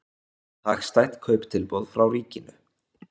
Hagstætt kauptilboð frá ríkinu